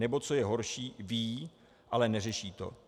Nebo co je horší, ví, ale neřeší to.